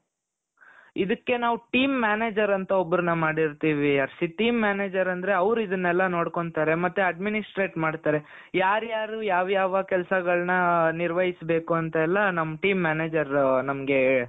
ಇದಕ್ಕೆ ನಾವು team manager ಅಂತ ಒಬ್ಬರನ ಮಾಡಿರ್ತಿವಿ ಹರ್ಷಿತ್ team ಮ್ಯಾನೇಜರ್ ಅಂದ್ರೆ ಅವರು ಇದ್ದನೆಲ್ಲ ನೋಡ್ಕೊಲ್ಲ್ತಾರೆ ಮತ್ತೆ administrate ಮಾಡ್ತಾರೆ ಯಾರ ಯಾರು ಯಾವ್ ಯಾವ ಕೆಲ್ಸಗಲ್ನ ನಿರ್ವಯ್ಸಬೇಕೋ ಅಂತ್ ಎಲ್ಲಾ ನಮ್ಮ team ಮ್ಯಾನೇಜರ್ ನಮ್ಮಗೆ .